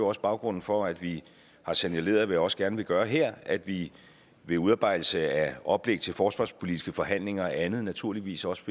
også baggrunden for at vi har signaleret hvad jeg også gerne vil gøre her at vi ved udarbejdelsen af oplæg til forsvarspolitiske forhandlinger og andet naturligvis også